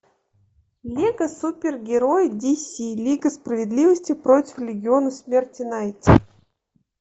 лего супергерои дс лига справедливости против легиона смерти найти